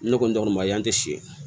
Ne kɔni ma ye an tɛ siri